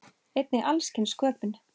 Einnig alls kyns sköpun.